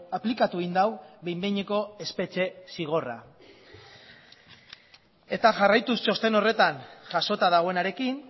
aplikatu egin du behin behineko espetxe zigorra eta jarraituz txosten horretan jasota dagoenarekin